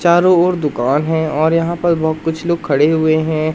चारों ओर दुकान है और यहां पर बहोत कुछ लोग खड़े हुए हैं।